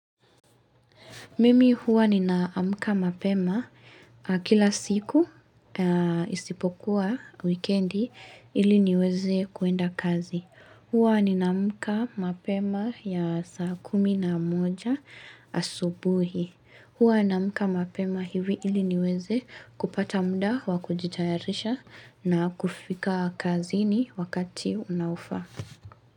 Mimi huwa ninaamka mapema kila siku isipokuwa wikendi ili niweze kuenda kazi. Huwa ninaamka mapema ya saa kumi na moja asubuhi. Huwa ninaamka mapema hivi ili niweze kupata muda wa kujitayarisha na kufika kazini wakati unaofaa.